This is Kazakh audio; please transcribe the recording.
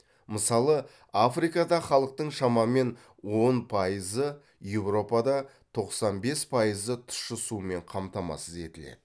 мысалы африкада халықтың шамамен он пайызы еуропада тоқсан бес пайызы тұщы сумен қамтамасыз етіледі